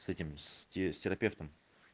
с этими с терапевтом